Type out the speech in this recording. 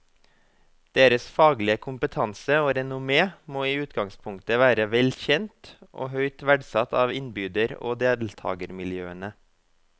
Deres faglige kompetanse og renommé må i utgangspunktet være vel kjent og høyt verdsatt av innbyder og deltagermiljøene.